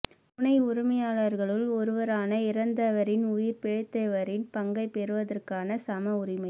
துணை உரிமையாளர்களுள் ஒருவரான இறந்தவரின் உயிர் பிழைத்தவரின் பங்கைப் பெறுவதற்கான சம உரிமை